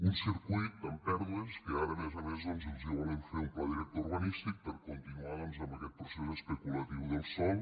un circuit amb pèrdues que ara a més a més doncs els volen fer un pla director urbanístic per continuar amb aquest procés especulatiu del sòl